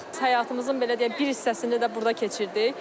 Həyatımızın belə deyək, bir hissəsini də burda keçirdik.